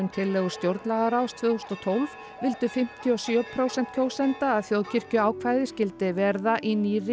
tillögur stjórnlagaráðs tvö þúsund og tólf vildu fimmtíu og sjö prósent kjósenda að þjóðkirkjuákvæðið skyldi vera í nýrri